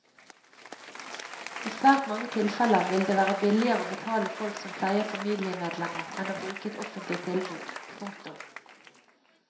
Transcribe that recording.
I svært mange tilfeller vil det være billigere å betale folk som pleier familiemedlemmer enn å bruke et offentlig tilbud. punktum